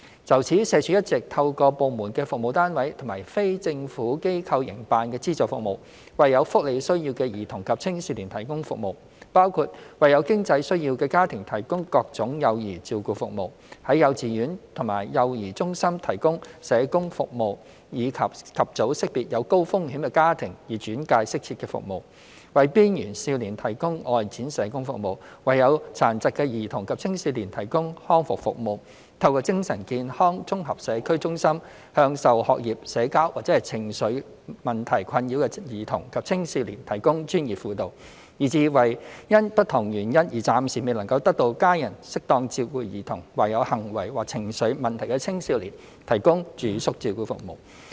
就此，社署一直透過部門的服務單位及非政府機構營辦的資助服務，為有福利需要的兒童及青少年提供服務，包括為有經濟需要的家庭提供各種幼兒照顧服務；在幼稚園及幼兒中心提供社工服務以及早識別有高風險的家庭以轉介適切的服務；為邊緣少年提供外展社工服務；為有殘疾的兒童及青少年提供康復服務；透過精神健康綜合社區中心向受學業、社交或情緒問題困擾的兒童及青少年提供專業輔導；以至為因不同原因而暫時未能得到家人適當照顧的兒童或有行為或情緒問題的青少年提供住宿照顧服務。